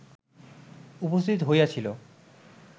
উপস্থিত হইয়াছিল